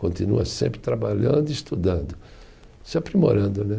Continua sempre trabalhando e estudando, se aprimorando né.